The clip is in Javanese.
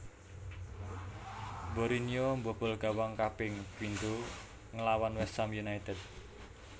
Borinio mbobol gawang kaping pindho nglawan West Ham United